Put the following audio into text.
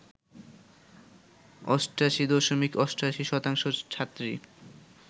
৮৮ দশমিক ৮৮ শতাংশ ছাত্রী